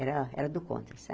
Era era do contra,